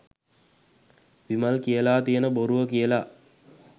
විමල් කියලා තියෙන බොරුව කියලා?